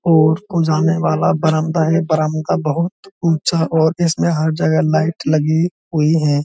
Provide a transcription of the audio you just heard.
ओर को जाने वाला बरामदा है बरामदा बहुत ऊँचा और इसमें हर जगह लाइट लगी हुई हैं।